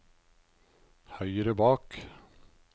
høyre bak